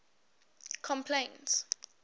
complaints